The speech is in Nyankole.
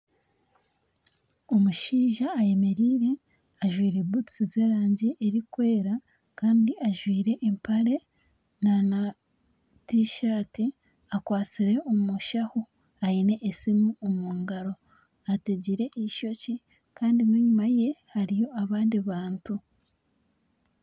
Omushaija ayemereire ajwaire butusi zerangi erikwera kandi ajwaire empare nana t-shirt akwatsire omunshaho aine aine esimu omungaro ategire eishokye Kandi enyuma ye hariyo abandi bantu